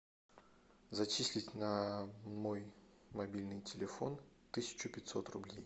зачислить на мой мобильный телефон тысячу пятьсот рублей